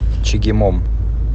чегемом